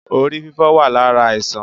Orí fífọ́ wá lára àìsàn